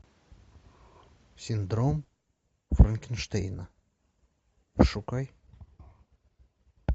синдром франкенштейна пошукай